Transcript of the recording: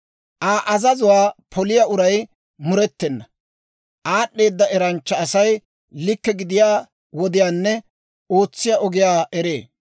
Aa azazuwaa poliyaa uray murettena; aad'd'eeda eranchcha Asay likke gidiyaa wodiyaanne ootsiyaa ogiyaa eree.